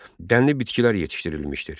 Dənli bitkilər yetişdirilmişdir.